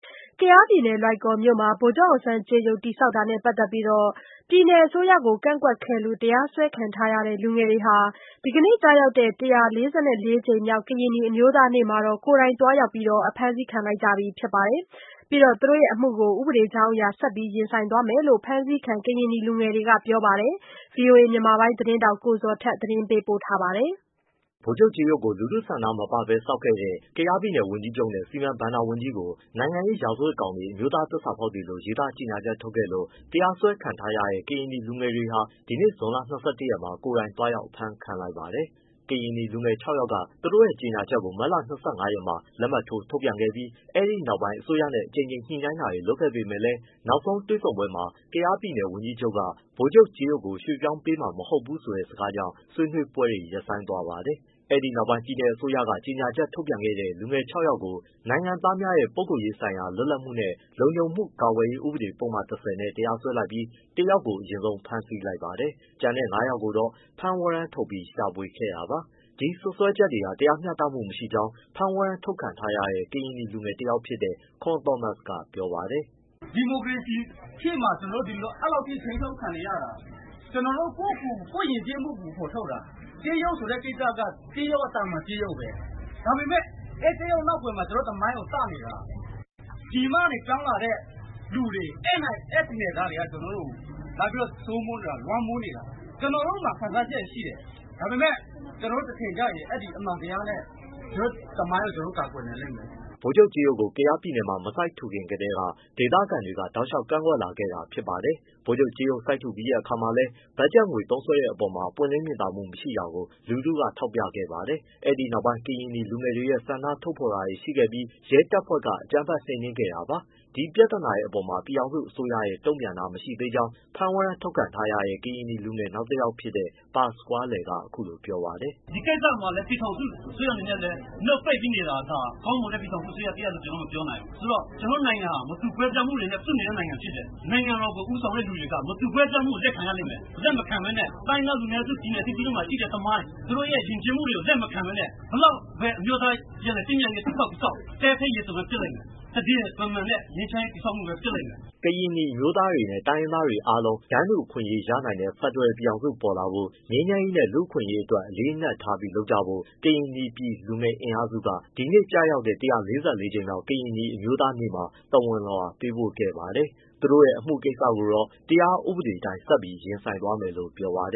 ကယားပြည်နယ်၊ လွိုင်ကော်မြို့မှာ ဗိုလ်ချုပ်အောင်ဆန်းကြေးရုပ် တည်ဆောက်တာနဲ့ ပတ်သက်ပြီး ပြည်နယ်အစိုးရကို ကန့်ကွက်ခဲ့လို့ တရားစွဲခံထားရတဲ့ လူငယ်တွေဟာ ဒီနေ့ကျရောက်တဲ့ ၁၄၄ ကြိမ်မြောက် ကရင်နီအမျိုးသားနေ့မှာ ကိုယ်တိုင်သွားရောက် အဖမ်းဆီးခံလိုက်ပြီ ဖြစ်ပါတယ်။ ပြီးတော့ သူတို့ရဲ့အမှုကို ဥပဒေအရ ဆက်ပြီး ရင်ဆိုင်သွားမယ်လို့ ဖမ်းဆီးခံ ကရင်နီလူငယ်တွေက ပြောပါတယ်။ ဗွီအိုအေ မြန်မာပိုင်းသတင်းထောက် ကိုဇော်ထက် ပေးပို့ထားပါတယ်။ ဗိုလ်ချုပ်ကြေးရုပ်ကို လူထုဆန္ဒမပါဘဲ ဆောက်ခဲ့တဲ့ ကယားပြည်နယ်ဝန်ကြီးချုပ်နဲ့ စီမံဘဏ္ဍာဝန်ကြီးကို နိုင်ငံရေးရာဇဝတ်ကောင်တွေ၊ အမျိုးသား သစ္စာဖောက်တွေလို့ ရေးသား ကြေညာချက်ထုတ်ခဲ့လို့ တရားစွဲခံထားရတဲ့ ကရင်နီလူငယ်တွေဟာ ဒီနေ့ ဇွန်လ ၂၁ရက်မှာ ကိုယ်တိုင်သွားရောက် အဖမ်းခံလိုက်ပါတယ်။ ကရင်နီလူငယ် ခြောက်ယောက်က သူတို့ရဲ့ ကြေညာချက်ကို မတ်လ ၂၅ရက်မှာ လက်မှတ်ထိုးထုတ်ပြန်ခဲ့ပြီး အဲဒီနောက်ပိုင်း အစိုးရနဲ့ အကြိမ်ကြိမ်ညှိနှိုင်းတာတွေ လုပ်ခဲ့ပေမဲ့လည်း နောက်ဆုံးတွေ့ဆုံပွဲမှာ ကယားပြည်နယ်ဝန်ကြီးချုပ်က "ဗိုလ်ချုပ်ကြေးရုပ်ကို ရွှေ့ပြောင်းပေးမှာမဟုတ်ဘူး။" ဆိုတဲ့စကားကြောင့် ဆွေးနွေးပွဲတွေ ရပ်ဆိုင်းသွားပါတယ်။ အဲဒီနောက် ပြည်နယ်အစိုးရက ကြေညာချက်ထုတ်ပြန်ခဲ့တဲ့ လူငယ် ခြောက်ယောက်ကို နိုင်ငံသားများရဲ့ ပုဂ္ဂိုလ်ရေးဆိုင်ရာ လွတ်လပ်မှုနှင့် လုံခြုံမှုကာကွယ်ရေး ဥပဒေပုဒ်မ ၁၀ နဲ့တရားစွဲလိုက်ပြီး တယောက်ကို အရင်ဆုံး ဖမ်းဆီးလိုက်ပါတယ်။ ကျန်တဲ့ ငါးယောက်ကိုတော့ ဖမ်းဝရမ်းထုတ်ပြီး ရှာဖွေခဲ့တာပါ။ ဒီစွဲဆိုချက်တွေဟာ တရားမျှတမှု မရှိကြောင်း ဖမ်းဝရမ်းထုတ်ခံထားရတဲ့ ကရင်နီလူငယ်တယောက်ဖြစ်တဲ့ ခွန်းသောမတ်စ်က ပြောပါတယ်။ “ဒီမိုကရေစီခေတ်မှာ ကျနော်တို့ အဲဒီလောက်ထိ ထိန်းချုပ်ခံနေရတာ။ ကျနော်တို့ ကိုယ့်ယဉ်ကျေးမှုကို ကိုယ်ဖော်ထုတ်တာ။ ကြေးရုပ်ဆိုတဲ့ကိစ္စက သာမန်ကြေးရုပ်ပဲ။ ဒါပေမဲ့ အဲဒီကြေးရုပ် နောက်ကွယ်မှာ ကျနော်တို့ သမိုင်းကို သတ်နေတာ။ ပြည်မကနေပြောင်းလာတဲ့ လူတွေ အဲပြည်နယ်သားတွေက လာပြီးတော့ စိုးမိုးနေတာ၊ လွှမ်းမိုးနေတာ။ ကျနော်တို့မှာ ခံစားချက်တွေ ရှိတယ်။ ဒါပေမဲ့ ကျနော်တို့ တချိန်ကျရင် အဲဒီအမှန်တရားနဲ့ ကျနော်တို့သမိုင်းကို ကျနော်တို့ ကာကွယ်နိုင်လိမ့်မယ်။” ဗိုလ်ချုပ်ကြေးရုပ်ကို ကယားပြည်နယ်မှာ မစိုက်ထူခင်ကတည်းက ဒေသခံတွေကတောက်လျှောက် ကန့်ကွက်လာခဲ့ကြတာ ဖြစ်ပါတယ်။ ကြေးရုပ်စိုက်ထူပြီးတဲ့အခါမှာလည်း ဘက်ဂျက်ငွေ သုံးစွဲတဲ့အပေါ်မှာ ပွင့်လင်းမြင်သာမှု မရှိတာကို လူထုက ထောက်ပြခဲ့ပါတယ်။ အဲဒီနောက်ပိုင်း ကရင်နီလူငယ်တွေရဲ့ ဆန္ဒဖော်ထုတ်တာတွေ ရှိခဲ့ပြီး ရဲတပ်ဖွဲ့က အကြမ်းဖက် နှိမ်နင်းခဲ့တာပါ။ ဒီပြဿနာတွေအပေါ်မှာ ပြည်ထောင်စုအစိုးရရဲ့ တုံ့ပြန်တာမရှိသေးကြောင်း ဖမ်းဝရမ်း ထုတ်ခံထားရတဲ့ ကရင်နီလူငယ် နောက်တယောက်ဖြစ်တဲ့ ပါစကွားလယ်က အခုလိုပြောပါတယ်။ “ဒီကိစ္စမှာလည်း ပြည်ထောင်စုအစိုးရအနေနဲ့ နှုတ်ပိတ်ပြီးနေတာဟာ ကောင်းမွန်တဲ့ ပြည်ထောင်စုအစိုးရ တရပ်လို့ မပြောနိုင်ဘူး။ ကျနော်တို့နိုင်ငံဟာ မတူကွဲပြားမှုတွေနဲ့ စုနေတဲ့ နိုင်ငံဖြစ်တယ်။ နိုင်ငံတော်ကို ဦးဆောင်တဲ့သူတွေက မတူကွဲပြားမှုကို လက်ခံရလိမ့်မယ်။ လက်မခံဘဲနဲ့ တိုင်းရင်းသားလူနည်းစု ပြည်နယ်အသီးသီးမှာ ရှိတဲ့သမိုင်း၊ ယဉ်ကျေးမှုတွေကို လက်မခံဘဲနဲ့ ဘယ်လောက်ပဲ အမျိုးသားပြန်လည်သင့်မြတ်ရေးကို တည်ဆောက်၊ တည်ဆောက် သဲထဲရေသွန်ပဲ ဖြစ်လိမ့်မယ်။ သန္ဓေမမှန်တဲ့ ငြိမ်းချမ်းရေး တည်ဆောက်မှုပဲ ဖြစ်လိမ့်မယ်။” ကရင်နီအမျိုးသားတွေနဲ့ တိုင်းရင်းသားအားလုံး တန်းတူအခွင့်အရေး ရနိုင်တဲ့ ဖက်ဒရယ်ပြည်ထောင်စုပေါ်လာဖို့ ငြိမ်းချမ်းရေးနဲ့ လူ့အခွင့်အရေးအတွက် အလေးအနက်ထားပြီး လုပ်ကြဖို့ ကရင်နီပြည်လူငယ်များ အင်အားစုက ဒီနေ့ကျရောက်တဲ့ ၁၄၄ ကြိမ်မြောက် ကရင်နီအမျိုးသားနေ့မှာ သဝဏ်လွှာပေးပို့ခဲ့ပါတယ်။ သူတို့ အမှုကိစ္စကိုတော့ တရားဥပဒေအတိုင်းဆက်ပြီး ရင်ဆိုင်သွားမယ်လို့ ပြောပါတ